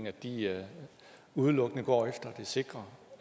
at de udelukkende går efter det sikre